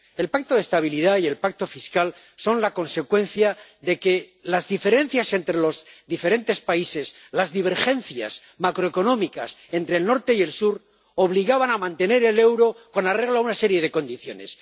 El Pacto de Estabilidad y el Pacto Presupuestario son la consecuencia de que las diferencias entre los diferentes países, las divergencias macroeconómicas entre el norte y el sur, obligaban a mantener el euro con arreglo a una serie de condiciones.